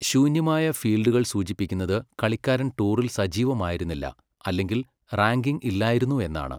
ശൂന്യമായ ഫീൽഡുകൾ സൂചിപ്പിക്കുന്നത് കളിക്കാരൻ ടൂറിൽ സജീവമായിരുന്നില്ല, അല്ലെങ്കിൽ റാങ്കിംഗ് ഇല്ലായിരുന്നു എന്നാണ്.